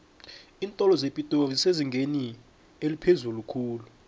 iintolo zepitori zisezingeni eliphezulu khulu